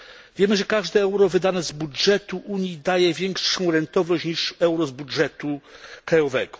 Wiemy, że każde euro wydane z budżetu Unii daje większą rentowność niż euro z budżetu krajowego.